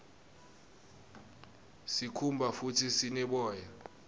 sikhumba futdi sine boya